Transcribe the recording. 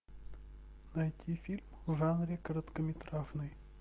найти фильм в жанре короткометражный